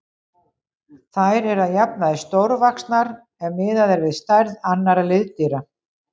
Þær eru að jafnaði stórvaxnar ef miðað er við stærð annarra liðdýra.